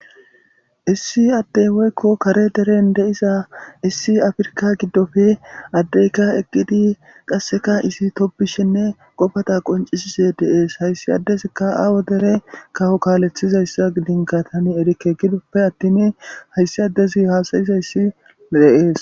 issi addey woykko kare deren deiza issi afrka giddofe addeyka eqqidi qasseka isi topbishenne qobata qoncisise deees hayssi addezikka aawo dere kawo kaalethizayssa dinkatani erikke gidoppe attin hayssi addezi haasayizayssi deees